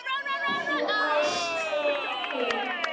fnæsti hún.